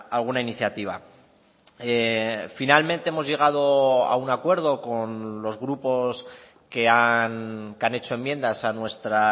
alguna iniciativa finalmente hemos llegado a un acuerdo con los grupos que han hecho enmiendas a nuestra